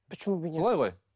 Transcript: почему бы нет солай ғой